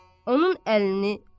onun əlini tutur.